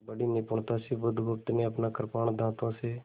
बड़ी निपुणता से बुधगुप्त ने अपना कृपाण दाँतों से